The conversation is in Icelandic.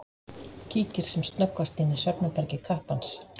Kíkir sem snöggvast inn í svefnherbergi kappans.